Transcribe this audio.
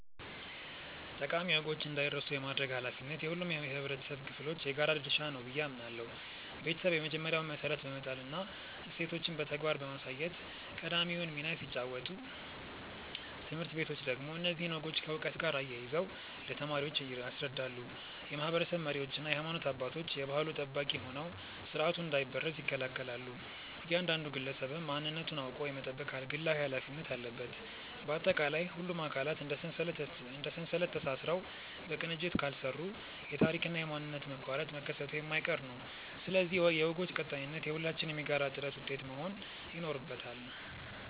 ጠቃሚ ወጎች እንዳይረሱ የማድረግ ኃላፊነት የሁሉም የኅብረተሰብ ክፍሎች የጋራ ድርሻ ነው ብዬ አምናለሁ። ቤተሰብ የመጀመሪያውን መሠረት በመጣልና እሴቶችን በተግባር በማሳየት ቀዳሚውን ሚና ሲጫወት፣ ትምህርት ቤቶች ደግሞ እነዚህን ወጎች ከዕውቀት ጋር አያይዘው ለተማሪዎች ያስረዳሉ። የማኅበረሰብ መሪዎችና የሃይማኖት አባቶች የባሕሉ ጠባቂ ሆነው ሥርዓቱ እንዳይበረዝ ይከላከላሉ፤ እያንዳንዱ ግለሰብም ማንነቱን አውቆ የመጠበቅ ግላዊ ኃላፊነት አለበት። ባጠቃላይ፣ ሁሉም አካላት እንደ ሰንሰለት ተሳስረው በቅንጅት ካልሠሩ የታሪክና የማንነት መቋረጥ መከሰቱ የማይቀር ነው፤ ስለዚህ የወጎች ቀጣይነት የሁላችንም የጋራ ጥረት ውጤት መሆን ይኖርበታል።